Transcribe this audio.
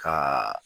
Ka